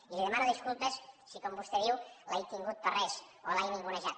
i li demano disculpes si com vostè diu l’he tingut per res o l’he ningunejat